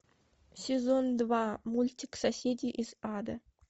сезон два мультик соседи из ада